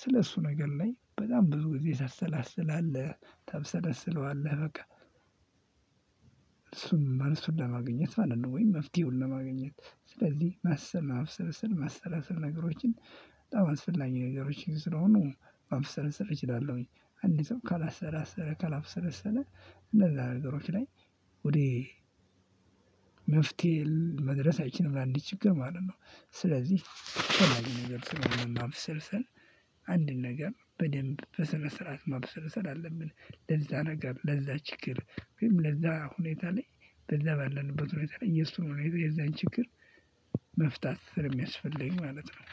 ስለእሱ ነገር ላይ በጣም ብዙ ጊዜ ታሰላስላለህ ታብሰለስለዋለህ በቃ እሱን መልሱን ለማግኘት ማለት ነው። ወይም መፍትሄውን ለማግኘት ስለዚህ ማሰብ ማብሰልሰል ማሰላሰል ነገሮችን። በጣም አስፈላጊ ነገሮች ስለሆኑ ማብሰልሰል እችላለሁኝ። አንድ ሰው ካላሰላሰለ ካላብሰለሰለ እነዛ ነገሮች ላይ ወደ መፍትሄ መድረስ አይችልም ለአንድ ችግር ማለት ነው። ስለዚህ አስፈላጊ ነገር ስለሆነ ማብሰልሰል። አንድን ነገር በደንብ በስነ ስርዓት ማብሰልሰል አለብን ለዛ ነገር ለዛ ችግር ወይም ለዛ ሁኔታ ላይ በዛ ባለንበት ሁኔታ ላይ የሱን ሁኔታ የዛን ችግር መፍታት ስለሚያስፈልግ ማለት ነው